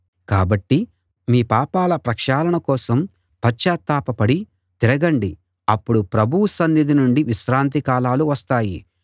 కాబట్టి మీ పాపాల ప్రక్షాళన కోసం పశ్చాత్తాపపడి తిరగండి అప్పుడు ప్రభువు సన్నిధి నుండి విశ్రాంతి కాలాలు వస్తాయి